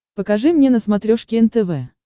покажи мне на смотрешке нтв